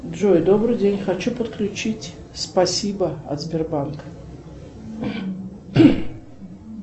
джой добрый день хочу подключить спасибо от сбербанка